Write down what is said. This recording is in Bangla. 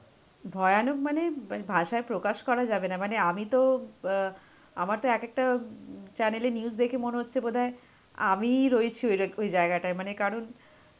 মানে ভয়ানক মানে ভাষায় প্রকাশ করা যাবে না, মানে আমি তো অ্যাঁআমার তো এক একটা উম channel এ news দেখে মনে হচ্ছে বোধহয় আমিই রয়েছি ওই জায়গাটায়. মানে কারণ